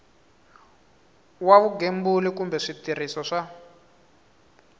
wa vugembuli kumbe switirhiso swa